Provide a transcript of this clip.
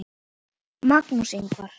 Magnús Ingvar.